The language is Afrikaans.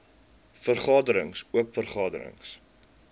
vergaderings oop vergaderings